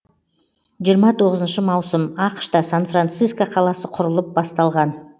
жиырма тоғызыншы маусым ақш та сан франсиско қаласы құрылып басталған